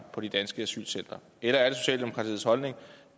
på de danske asylcentre